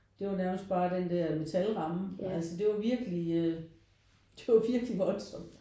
Det var nærmest bare den der metal ramme altså det var virkelig det var virkelig voldsomt